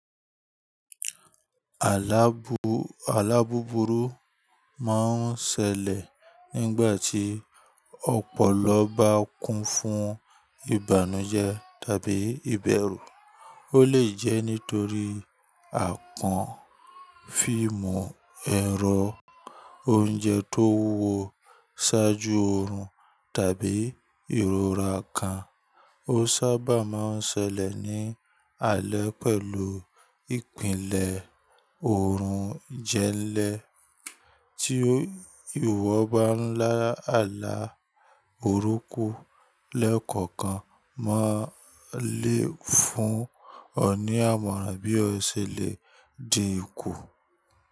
Alá búburú máa ń ṣẹlẹ̀ nígbà tí ọpọlọ bá kún fún ìbànújẹ́ tàbí ìbẹ̀rù. Ó lè jẹ́ nítorí àpọ̀n, fíìmù ẹ̀rọ, oúnjẹ tó wúwo ṣáájú oorun tàbí ìrora kan. Ó sábà máa ń ṣẹlẹ̀ ní alẹ́ pẹ̀lú ìpìlẹ̀ oorun jẹ́lẹ̀ tí ìwọ ba ńlá àlá burúkú lẹ́kọ̀ọ̀kan máa lé fún ọ̀nìyàìmọ̀ran bí ó ṣẹlẹ̀ di ikú.